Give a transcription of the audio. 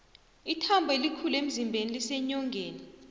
ithambo elikhulu emzimbeni liseenyongeni